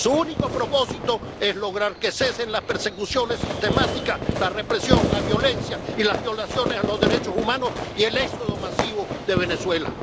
Su único propósito es lograr que cesen las persecuciones sistemáticas, la represión, la violencia y las violaciones a los derechos humanos y el éxodo masivo de Venezuela.